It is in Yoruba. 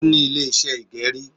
Ó ní Ilé iṣẹ́ ìgẹrí